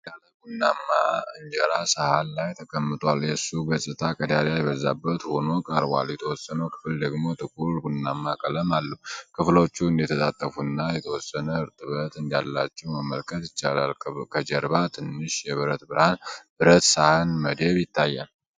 ጥቅልል ያለ ቡናማ እንጀራ ሰሀን ላይ ተቀምጧል። የሱ ገጽታ ቀዳዳ የበዛበት ሆኖ ቀርቧል፤ የተወሰነው ክፍል ደግሞ ጥቁር ቡናማ ቀለም አለው። ከፍሎቹ እንደተጣጠፉና የተወሰነ እርጥበት እንዳላቸው መመልከት ይቻላል። ከጀርባ ትንሽ የብር ብረት ሳህን መደብ ይታያል።